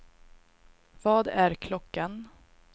Vad är klockan